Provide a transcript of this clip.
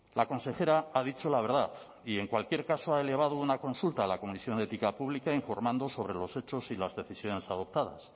la consejera ha dicho la verdad y en cualquier caso ha elevado una consulta al a comisión de ética pública informando sobre los hechos y las decisiones adoptadas